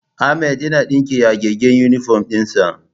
Ahmad yana ɗinke yagaggen inifom ɗin sa